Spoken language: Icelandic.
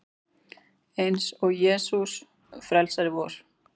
Eins og Jesús frelsari vor.